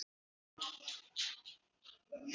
Rýkur á fætur.